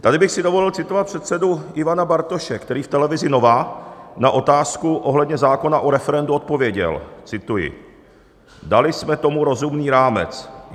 Tady bych si dovolil citovat předsedu Ivana Bartoše, který v Televizi Nova na otázku ohledně zákona o referendu odpověděl, cituji: "Dali jsme tomu rozumný rámec.